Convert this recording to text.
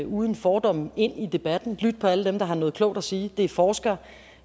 uden fordomme gå ind i debatten til alle dem der har noget klogt at sige det er forskere